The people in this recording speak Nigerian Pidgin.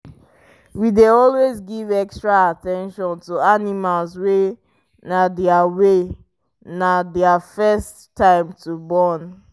we dey always give extra at ten tion to animals wy na their wy na their first time to born